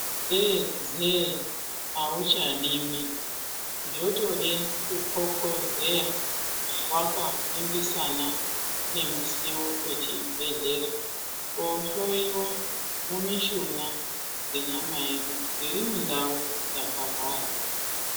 Zee zeee auchadiwi zvotode kuthokozeya wakaningisana nemusiwo wechibhedhlera kohloiwa mumishuna yenyama yedu dziri mundau dzakahwara.